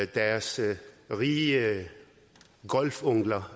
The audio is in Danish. deres rige onkler